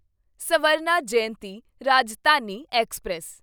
Swarna Jayanti Rajdhani express